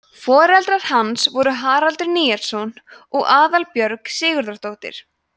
foreldrar hans voru haraldur níelsson og aðalbjörg sigurðardóttir